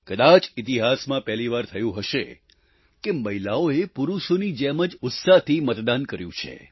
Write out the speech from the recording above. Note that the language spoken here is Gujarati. કદાચ ઈતિહાસમાં પહેલીવાર થયું હશે કે મહિલાઓએ પુરુષોની જેમ જ ઉત્સાહથી મતદાન કર્યું છે